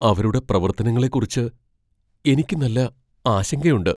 അവരുടെ പ്രവർത്തനങ്ങളെക്കുറിച്ച് എനിക്ക് നല്ല ആശങ്കയുണ്ട്.